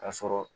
Ka sɔrɔ